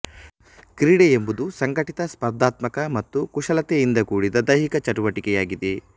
ಕ್ರೀಡೆ ಎಂಬುದು ಸಂಘಟಿತ ಸ್ಪರ್ಧಾತ್ಮಕ ಮತ್ತು ಕುಶಲತೆಯಿಂದ ಕೂಡಿದ ದೈಹಿಕ ಚಟುವಟಿಕೆಯಾಗಿದೆ